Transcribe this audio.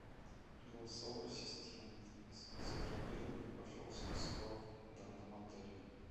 голосовой ассистент забронируй мне пожалуйста спа в данном отеле